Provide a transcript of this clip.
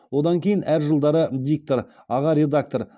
одан кейін әр жылдары диктор аға редактор